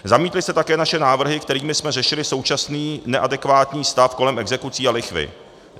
Zamítli jste také naše návrhy, kterými jsme řešili současný neadekvátní stav kolem exekucí a lichvy.